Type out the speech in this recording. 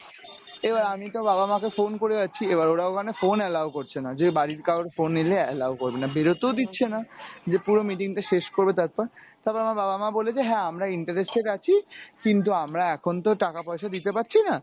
এবার আমি তো বাবা মাকে phone করে যাচ্ছি এবার ওরা ওখানে phone allow করছে না যে বাড়ির কারো phone এলে allow করবে না বেরুতেও দিচ্ছে না যে পুরো meeting টা শেষ করবে তারপর তারপর আমার বাব মা বলেছে যে হ্যাঁ আমরা interested আছি কিন্তু আমরা এখন তো টাকা পয়সা দিতে পারছি না।